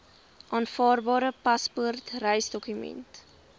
aanvaarbare paspoort reisdokument